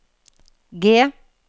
G